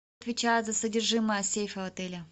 отвечает за содержимое сейфа в отеле